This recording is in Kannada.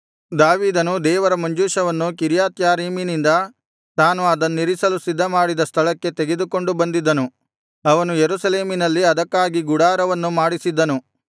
ದಾವೀದನು ದೇವರ ಮಂಜೂಷವನ್ನು ಕಿರ್ಯತ್ಯಾರೀಮಿನಿಂದ ತಾನು ಅದನ್ನಿರಿಸಲು ಸಿದ್ಧ ಮಾಡಿದ ಸ್ಥಳಕ್ಕೆ ತೆಗೆದುಕೊಂಡು ಬಂದಿದ್ದನು ಅವನು ಯೆರೂಸಲೇಮಿನಲ್ಲಿ ಅದಕ್ಕಾಗಿ ಗುಡಾರವನ್ನು ಮಾಡಿಸಿದ್ದನು